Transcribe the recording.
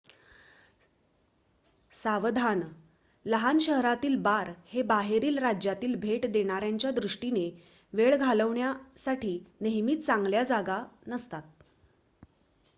सावधान लहान शहरातील बार हे बाहेरील राज्यातील भेट देणाऱ्यांच्या दृष्टीने वेळ घालवण्यासाठी नेहमीच चांगल्या जागा नसतात